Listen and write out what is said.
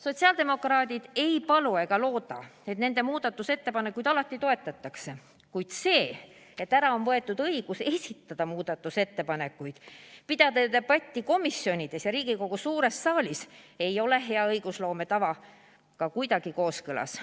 Sotsiaaldemokraadid ei palu ega looda, et nende muudatusettepanekuid alati toetatakse, kuid see, et ära on võetud õigus esitada muudatusettepanekuid, pidada debatti komisjonides ja Riigikogu suures saalis, ei ole hea õigusloome tavaga kuidagi kooskõlas.